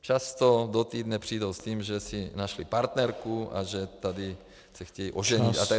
často do týdne přijdou s tím, že si našli partnerku a že se tady chtějí oženit.